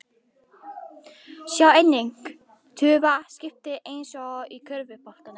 Sjá einnig: Tufa: Skipting eins og í körfuboltanum